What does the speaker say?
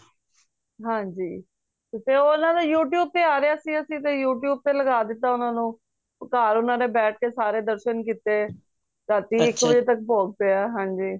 ਹਨਜੀ ਤੇ ਨਾਲੇ ਉਹ youtube ਤੇ ਆ ਰੇਯਾ ਸੀ ਤੇ ਅੱਸੀ ਤੇ youtube ਤੇ ਲਗਾਤਾ ਓਹਨਾ ਨੂੰ ਘਰ ਓਹਨਾ ਨੇ ਬੈਠ ਕ ਸਾਰੇ ਦਰਸ਼ਨ ਕੀਤੇ ਰਾਤੀ ਇੱਕ ਵੱਜੇ ਤੱਕ ਭੋਗ ਪੇਯਾ ਹਾਂਜੀ